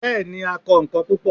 bẹẹni, a kọ nkán pupọ